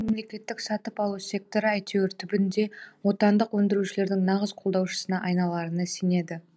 себебі ол мемлекеттік сатып алу секторы әйтеуір түбінде отандық өндірушілердің нағыз қолдаушысына айналарына сенеді